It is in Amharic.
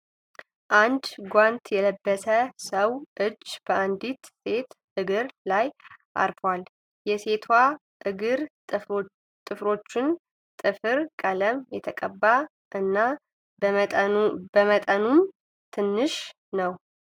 አንድ ጓንት የለበሰ ሰው እጅ በአንዲት ሴት እግር ላይ አርፏል። የሴቷ እግር ጥፍሮች ጥፍር ቀለም የተቀባ እና በመጠኑም ትንሽ ነው።